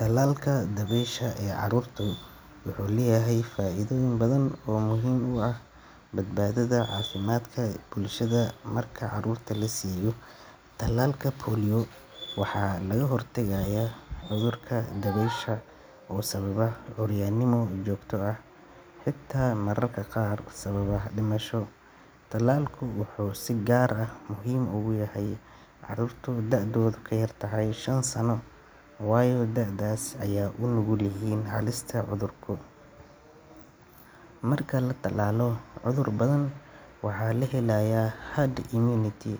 Talalka dabaysha ee carruurta wuxuu leeyahay faa’iidooyin badan oo muhiim u ah badbaadada iyo caafimaadka bulshada. Marka carruurta la siiyo talaalka polio, waxaa laga hortagayaa cudurka dabaysha oo sababa curyaannimo joogto ah, xitaa mararka qaar sababa dhimasho. Talaalku wuxuu si gaar ah muhiim ugu yahay carruurta da’doodu ka yar tahay shan sano, waayo da'daas ayay u nugul yihiin halista cudurka. Marka la talaalo carruur badan, waxaa la helayaa herd immunity,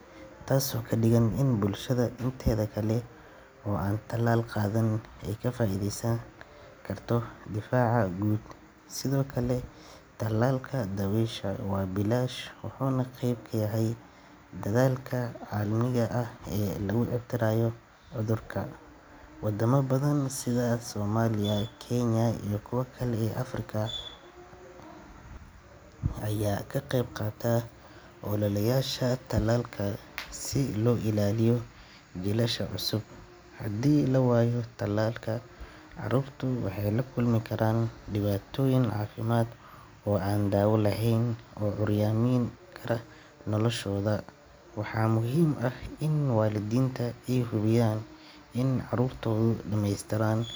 taasoo ka dhigan in bulshada inteeda kale oo aan talaal qaadan ay ka faa’iideysan karto difaaca guud. Sidoo kale, talaalka dabaysha waa bilaash, wuxuuna qeyb ka yahay dadaalka caalamiga ah ee lagu ciribtirayo cudurka. Wadamo badan sida Soomaaliya, Kenya iyo kuwa kale ee Afrika ah ayaa ka qeybqaata ololayaasha talaalka si loo ilaaliyo jiilasha cusub. Haddii la waayo talaalka, carruurtu waxay la kulmi karaan dhibaatooyin caafimaad oo aan daawo lahayn oo curyaamin kara noloshooda. Waxaa muhiim ah in waalidiinta ay hubiyaan in carruurtoodu dhammeystiran.